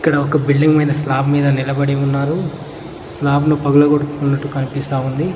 ఇక్కడ ఒక బిల్డింగ్ మీద స్లాబ్ మీద నిలబడి ఉన్నారు స్లాబ్ లో పగలగొడుతున్నట్టు కనిపిస్తా ఉంది.